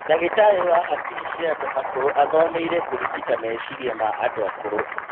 Ndagĩtarĩ wa hakiri cia andũ akũrũ athomeire kũrigita meciria ma andũ akũrũ